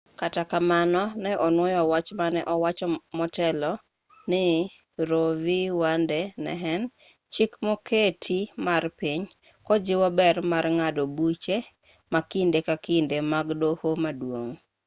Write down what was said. kata kamano ne onuoyo wach mane owacho motelo ni roe v wade ne en chik moketi mar piny kojiwo ber mar ng'ado buche ma kinde ka kinde mag doho maduong'